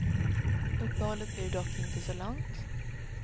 Uppehållet blev dock inte så långt.